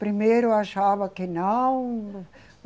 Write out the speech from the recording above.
Primeiro achava que não.